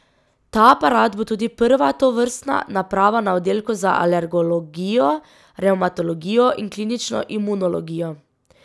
Ta aparat bo tudi prva tovrstna naprava na oddelku za alergologijo, revmatologijo in klinično imunologijo.